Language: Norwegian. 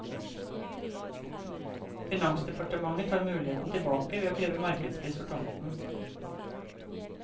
Finansdepartementet tar muligheten tilbake ved å kreve markedspris for tomten.